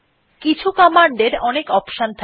কিছু কমান্ড এর অনেক অপশন থাকে